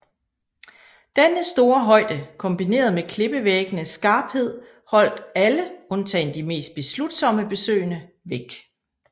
Denne store højde kombineret med klippevæggenes skarphed holdt alle undtagen de mest beslutsomme besøgende væk